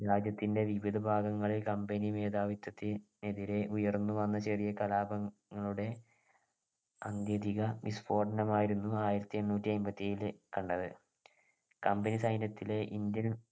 രാജ്യത്തിൻ്റെ വിവിധഭാഗങ്ങളിൽ company മേധാവിത്തതിനെതിരെ ഉയർന്നു വന്ന ചെറിയ കലാപങ്ങ ളുടെ അന്ത്യതിക വിസ്ഫോടനം ആയിരുന്നു ആയിരത്തിഎണ്ണൂറ്റിഅയ്മ്പത്തിഏഴിലെ കണ്ടത് company സൈന്യത്തിലെ indian